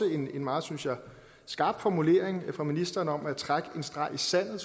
en meget skarp formulering fra ministeren om at trække en streg i sandet